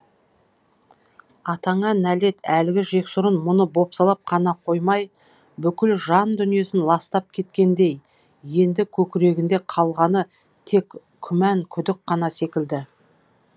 атаңа нәлет әлгі жексұрын мұны бопсалап қана қоймай бүкіл жан дүниесін ластап кеткендей енді көкірегінде қалғаны тек күмән күдік қана секілді